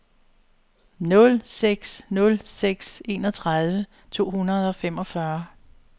nul seks nul seks enogtredive to hundrede og femogfyrre